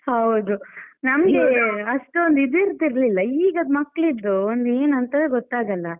ಹೌದು, ನಮಿಗೆ ಅಷ್ಟೊಂದು ಇದು ಇರ್ತಿರ್ಲಿಲ್ಲ, ಈಗದ್ ಮಕ್ಕಿಳಿದು ಒಂದು ಏನಂತವೇ ಗೊತ್ತಾಗಲ್ಲ?